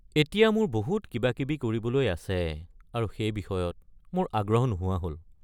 এতিয়া মোৰ বহুত কিবাকিবি কৰিবলৈ আছে আৰু সেই বিষয়ত মোৰ আগ্ৰহ নোহোৱা হ'ল।